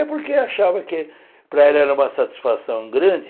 É porque achava que para ela era uma satisfação grande.